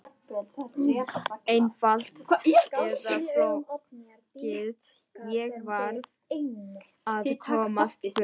Einfalt eða flókið, ég varð að komast burt.